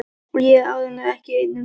Og ég er áreiðanlega ekki einn um það.